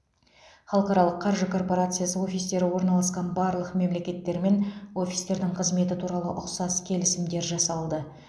халықаралық қаржы корпорациясы офистері орналасқан барлық мемлекеттермен офистердің қызметі туралы ұқсас келісімдер жасалды